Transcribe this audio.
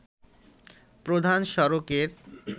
প্রধান সড়কের